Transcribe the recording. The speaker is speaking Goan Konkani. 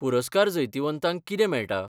पुरस्कार जैतिवंतांक कितें मेळटा?